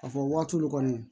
Ka fɔ waati dɔ kɔni